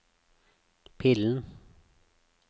pillen